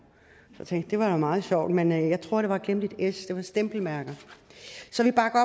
så tænker det var meget sjovt men jeg tror at der var glemt et s det var stempelmærker så vi bakker